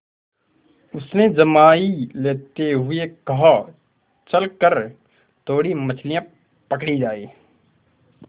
उसने जम्हाई लेते हुए कहा चल कर थोड़ी मछलियाँ पकड़ी जाएँ